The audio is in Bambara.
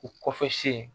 U kɔfɛ sen